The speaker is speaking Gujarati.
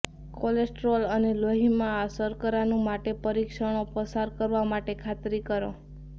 કોલેસ્ટેરોલ અને લોહીમાં શર્કરાનું માટે પરીક્ષણો પસાર કરવા માટે ખાતરી કરો